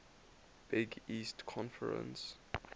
big east conference